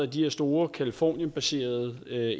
de her store californienbaserede